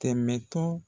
Tɛmɛtɔ